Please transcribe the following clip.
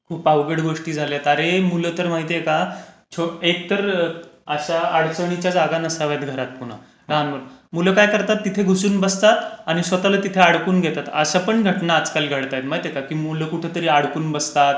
खूप अवघड गोष्टी झाल्यात अरे. मुलं तर माहितेय का एकतर अशा अडचणीच्या जागा नसाव्यात घरात, मुलं काय करतात, तिथे घुसून बसतात आणि स्वतःला तिथे अडकून घेतात, अशा पण घटना आजकाल घडतायत. माहितेय का की मुलं कुठेतरी अडकून बसतात